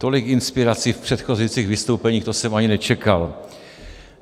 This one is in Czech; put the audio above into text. Tolik inspirací v předchozích vystoupeních, to jsem ani nečekal.